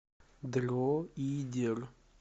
дроидер